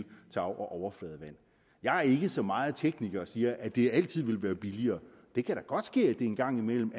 overfladevand jeg er ikke så meget tekniker at sige at det altid vil være billigere det kan godt ske at det en gang mellem